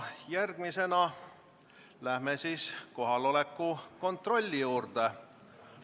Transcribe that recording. Järgmisena läheme kohaloleku kontrolli juurde.